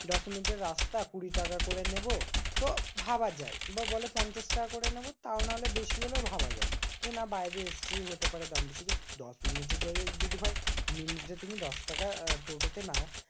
দশমিনিটের রাস্তা কুড়িটাকা করে নেবো তো ভাবা যায়। বা বলে পঞ্চাশ টাকা করে নেবো তাও নাহলে বেশি হলেও ভাবা যায়। যে না বাইরে এসেছি হতে পারে দাম বেশি। কিন্তু দশমিনিটের যদি হয় মিনিটে তুমি দশটাকা টোটো তে নাও